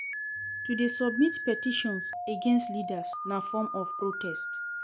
To de submit petitions against leaders na form of protest